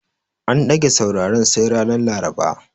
An ɗage sauraren sai ranar Laraba.